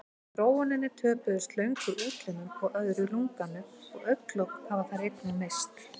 Í þróuninni töpuðu slöngur útlimum og öðru lunganu og augnalok hafa þær einnig misst.